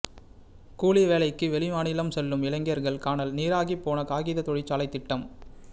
கூலி வேலைக்கு வெளிமாநிலம் செல்லும் இளைஞர்கள் கானல் நீராகிப்போன காகித தொழிற்சாலை திட்டம்